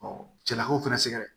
cɛlakaw fana sɛgɛrɛ